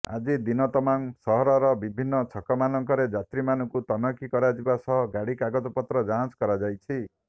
ଆଜି ଦିନ ତମାମ୍ ସହରର ବିଭିନ୍ନ ଛକମାନଙ୍କରେ ଯାତ୍ରୀମାନଙ୍କୁ ତନଖି କରାଯିବା ସହ ଗାଡ଼ି କାଗଜପତ୍ର ଯାଞ୍ଚ କରାଯାଇଛି